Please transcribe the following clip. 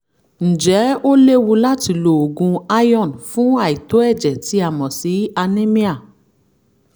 ǹjẹ́ ó léwu láti lo oògùn iron fún àìtó ẹ̀jẹ̀ tí a mọ̀ sí anemia?